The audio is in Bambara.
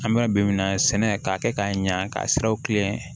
An bɛ ka bi minan sɛnɛ k'a kɛ k'a ɲa k'a siraw kilen